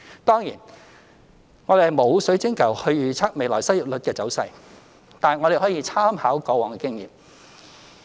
當然，我們沒有水晶球預測未來失業率的走勢，但我們可以參考過往的經驗。